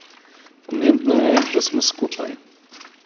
Pomembno je, da smo skupaj.